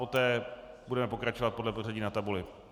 Poté budeme pokračovat podle pořadí na tabuli.